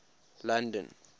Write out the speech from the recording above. london